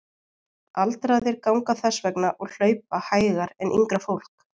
Aldraðir ganga þess vegna og hlaupa hægar en yngra fólk.